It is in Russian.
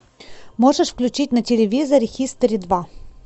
можешь включить на телевизоре хистори два